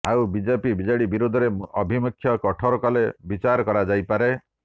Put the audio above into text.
ଆଉ BJP BJD ବିରୋଧରେ ଆଭିମୁଖ୍ୟ କଠୋର କଲେ ବିଚାର କରାଯାଇପାରେ